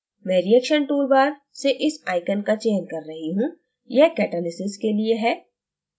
मैं reaction toolbar से इस icon का चयन कर रही हूं यह catalysis के लिए है